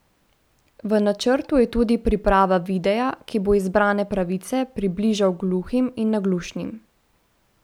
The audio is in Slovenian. V načrtu je tudi priprava videa, ki bo izbrane pravice približal gluhim in naglušnim.